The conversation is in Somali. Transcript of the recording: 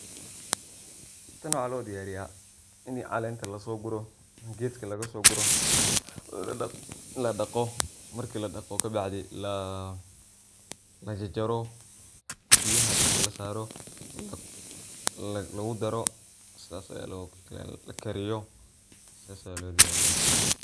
Tan waxa lodiyariya inii calenta lasoguro gedka lagasoguro, ladaqo marki ladaqo kabacdi, lajarjaro biyaha dabka lasoro, lagudaro, lakariyo sidhas aya lo diyariya